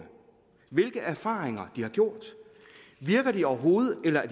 hvilke erfaringer de har gjort virker de overhovedet eller